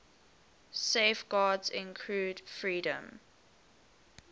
safeguards include freedom